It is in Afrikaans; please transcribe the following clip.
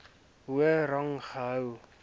hoër rang gehou